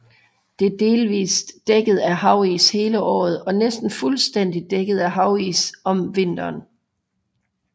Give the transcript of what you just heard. Det er delvist dækket af havis hele året og næsten fuldstændigt dækket af havis om vinteren